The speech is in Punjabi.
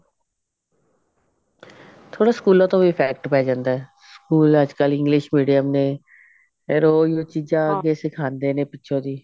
ਥੋੜਾ ਸਕੂਲਾਂ ਤੋਂ ਵੀ effect ਪੈ ਜਾਂਦਾ ਹੈ ਸਕੂਲ ਅੱਜਕਲ English medium ਨੇ ਫੇਰ ਉਹੀ ਉਹੀ ਚੀਜਾਂ ਸਿਖਾਂਦੇ ਨੇ ਪਿੱਛੋ ਦੀ